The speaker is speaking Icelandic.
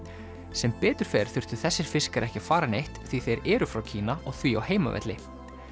sem betur fer þurftu þessir fiskar ekki að fara neitt því þeir eru frá Kína og því á heimavelli